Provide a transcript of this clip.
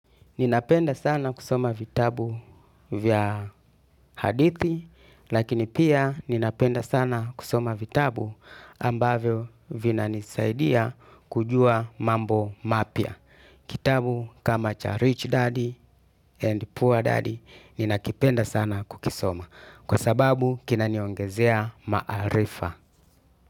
Ninapenda sana kusoma vitabu vya hadithi, lakini pia ninapenda sana kusoma vitabu ambavio vina nisaidia kujua mambo mapia. Kitabu kama cha Rich Daddy and Poor Daddy ninakipenda sana kukisoma. Kwa sababu kinaniongezea maarifa.